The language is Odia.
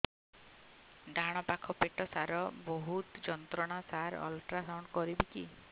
ଡାହାଣ ପାଖ ପେଟ ସାର ବହୁତ ଯନ୍ତ୍ରଣା ସାର ଅଲଟ୍ରାସାଉଣ୍ଡ କରିବି କି